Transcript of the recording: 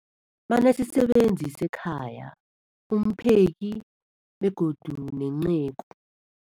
Banesisebenzi sekhaya, umpheki, begodu nenceku.